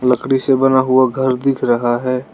लकड़ी से बना हुआ घर दिख रहा है।